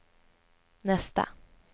nästa